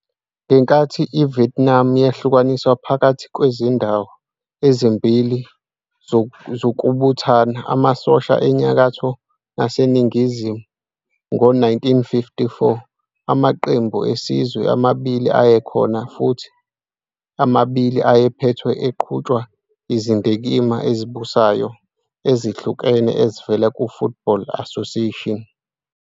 Ngenkathi iVietnam yahlukaniswa phakathi kwezindawo ezimbili zokubuthana amasosha eNyakatho naseNingizimu ngo-1954, amaqembu esizwe amabili ayekhona futhi omabili ayephethwe futhi eqhutshwa yizindikimba ezibusayo ezihlukene ezivela ku-Football Association.